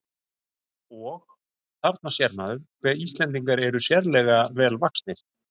Og: Þarna sér maður, hve Íslendingar eru sérlega vel vaxnir.